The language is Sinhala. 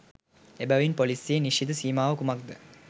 එබැවින් පොලීසියේ නිශ්චිත සීමාව කුමක්ද